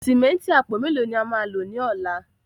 Símẹ́ǹtì àpò mẹ́lò ni à má lọ ní ọ̀lá?